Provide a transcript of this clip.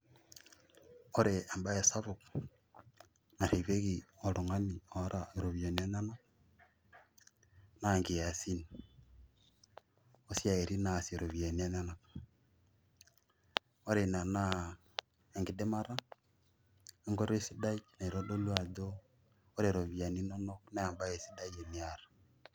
Ore ebae sapuk orripieki oltung'ani oota iropiyiani enyanak, na nkiasin osiaitin naasie ropiyiani enyanak. Ore ina naa enkidimata, enkoitoi sidai naitodolu ajo ore ropiyiani inonok, nebae sidai teniata.